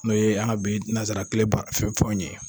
N'o ye an ka bi nanzara kile ba fɛnw ye.